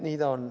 Nii ta on.